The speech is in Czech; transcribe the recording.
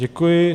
Děkuji.